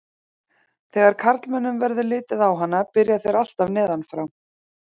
Þegar karlmönnum verður litið á hana byrja þeir alltaf neðan frá.